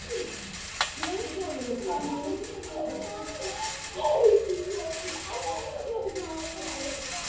Björnólfur, hvaða myndir eru í bíó á mánudaginn?